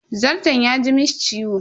Zarton ya ji mishi ciwo.